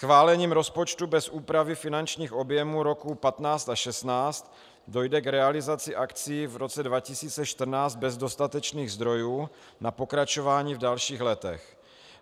Schválením rozpočtu bez úpravy finančních objemů roku 2015 a 2016 dojde k realizaci akcí v roce 2014 bez dostatečných zdrojů na pokračování v dalších letech.